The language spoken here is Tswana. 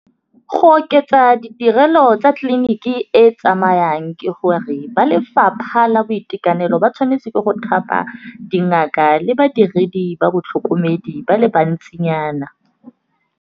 Go oketsa ditirelo tsa tleliniki e tsamayang ke gore, ba lefapha la boitekanelo ba tshwanetse ke go thapa dingaka le badiredi ba batlhokomedi ba le bantsinyana.